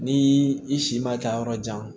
Ni i si ma taa yɔrɔ jan